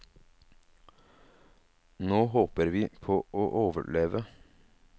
Nå håper vi på å overleve.